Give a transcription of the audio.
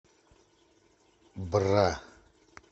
бра